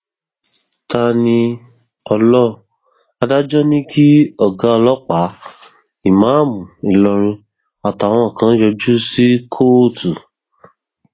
taníoló adájọ ní kí ọgá ọlọpàá ìmáàmù ìlọrin àtàwọn kan yọjú sí kóòtù